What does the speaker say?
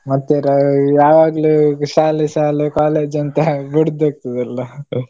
ಮತ್ತೆ ರಾ~ ಯಾವಾಗ್ಲೂ ಶಾಲೆ ಶಾಲೆ college ಅಂತ ಬೊಡ್ದು ಹೋಗ್ತದಲ್ಲ?